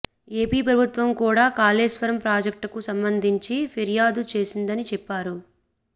AP ప్రభుత్వం కూడా కాళేశ్వరం ప్రాజెక్టుకు సంబంధించి ఫిర్యాదు చేసిందని చెప్పారు